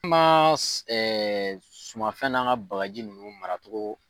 Ma sumafɛn n'an ka bagaji ninnu maracogo.